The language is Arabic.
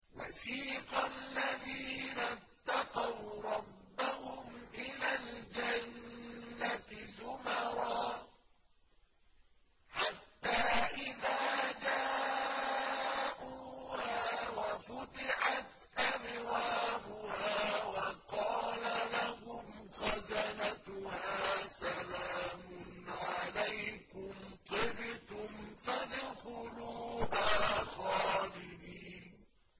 وَسِيقَ الَّذِينَ اتَّقَوْا رَبَّهُمْ إِلَى الْجَنَّةِ زُمَرًا ۖ حَتَّىٰ إِذَا جَاءُوهَا وَفُتِحَتْ أَبْوَابُهَا وَقَالَ لَهُمْ خَزَنَتُهَا سَلَامٌ عَلَيْكُمْ طِبْتُمْ فَادْخُلُوهَا خَالِدِينَ